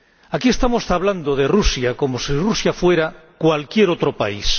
Aquí estamos hablando de Rusia como si Rusia fuera cualquier otro país